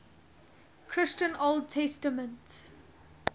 christian old testament